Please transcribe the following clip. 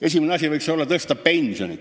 Esimene asi võiks olla pensionide tõstmine.